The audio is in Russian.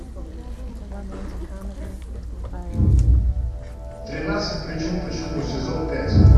тринадцать причин почему сезон пять